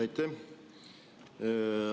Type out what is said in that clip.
Aitäh!